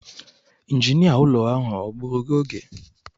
Injinia ụlọ ahụ o gbuuru gị oge?